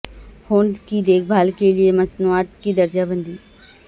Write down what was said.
ہونٹ کی دیکھ بھال کے لئے مصنوعات کی درجہ بندی